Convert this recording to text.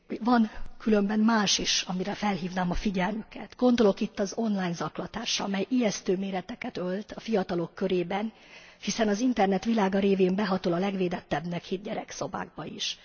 Van különben más is, amire felhívnám a figyelmüket gondolok itt az online zaklatásra, mely ijesztő méreteket ölt a fiatalok körében, hiszen az internet világa révén behatol a legvédettebbnek hitt gyerekszobákba is.